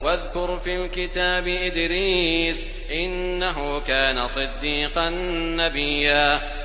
وَاذْكُرْ فِي الْكِتَابِ إِدْرِيسَ ۚ إِنَّهُ كَانَ صِدِّيقًا نَّبِيًّا